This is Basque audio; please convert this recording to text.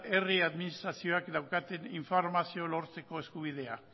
herri administrazioak daukaten informazioa lortzeko eskubidea